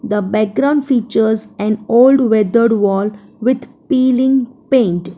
the background features an old weathered wall with peeling paint.